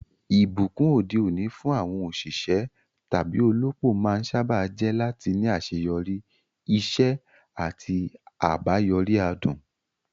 Ìbùkún òde òní fún àwọn òṣìṣẹ́ tàbí olópò máa ń sáábà jẹ́ láti ní àṣeyọrí, iṣẹ́ àti àbáyọrí adùn.